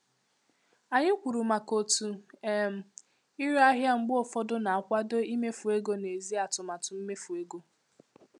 Anyị kwuru maka otu um ire ahịa mgbe ụfọdụ na-akwado imefu ego n'èzí atụmatụ mmefu ego.